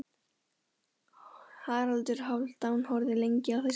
Haraldur Hálfdán horfði lengi á þessa stúlku.